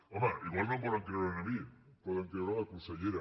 home igual no em volen creure a mi poden creure la consellera